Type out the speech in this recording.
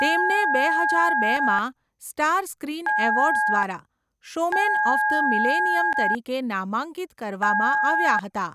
તેમને બે હજાર બેમાં સ્ટાર સ્ક્રીન એવોર્ડ્સ દ્વારા 'શોમેન ઓફ ધ મિલેનિયમ' તરીકે નામાંકિત કરવામાં આવ્યા હતા.